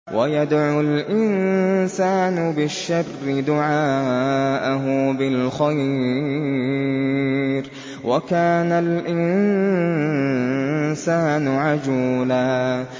وَيَدْعُ الْإِنسَانُ بِالشَّرِّ دُعَاءَهُ بِالْخَيْرِ ۖ وَكَانَ الْإِنسَانُ عَجُولًا